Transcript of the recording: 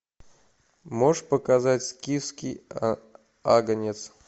можешь показать скифский агнец